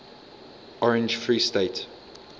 orange free state